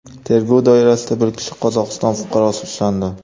Tergov doirasida bir kishi Qozog‘iston fuqarosi ushlandi.